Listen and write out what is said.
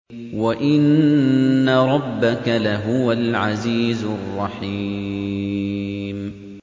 وَإِنَّ رَبَّكَ لَهُوَ الْعَزِيزُ الرَّحِيمُ